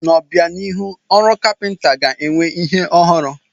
N'obianihu, ọrụ kapịnta ga-enwe ihe ọhụrụ.